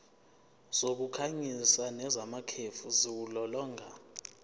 zokukhanyisa nezamakhefu ziwulolonga